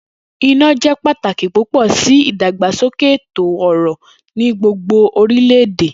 Ina jẹ pataki pupọ si idagbasoke eto-ọrọ ni gbogbo orilẹ-ede.